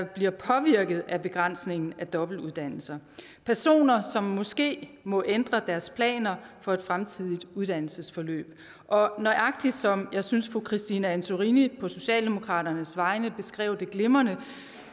bliver påvirket af begrænsningen af dobbeltuddannelser personer som måske må ændre deres planer for et fremtidigt uddannelsesforløb og nøjagtig som jeg synes fru christine antorini på socialdemokratiets vegne beskrev det glimrende